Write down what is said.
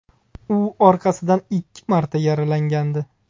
U orqasidan ikki marta yaralangandi.